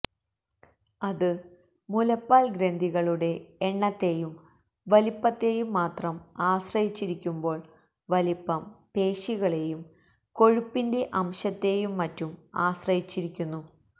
അത് മുലപ്പാൽ ഗ്രന്ഥികളുടെ എണ്ണത്തേയും വലിപ്പത്തേയും മാത്രം ആശ്രയിച്ചിരിക്കുമ്പോൾ വലിപ്പം പേശികളേയും കൊഴുപ്പിന്റെ അംശത്തേയും മറ്റും ആശ്രയിച്ചിരിക്കുന്നു